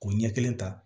K'o ɲɛ kelen ta